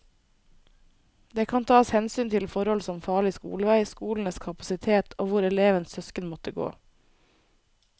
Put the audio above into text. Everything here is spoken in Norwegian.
Det kan tas hensyn til forhold som farlig skolevei, skolenes kapasitet og hvor elevens søsken måtte gå.